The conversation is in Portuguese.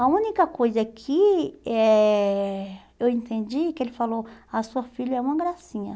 A única coisa que eh eu entendi é que ele falou, a sua filha é uma gracinha.